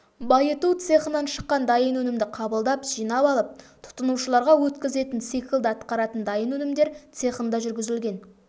байыту цехынан шыққан дайын өнімді қабылдап жинап алып тұтынушыларға өткізетін циклді атқаратын дайын өнімдер цехында жүргізілген